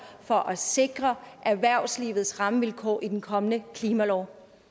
for at sikre erhvervslivets rammevilkår i den kommende klimalov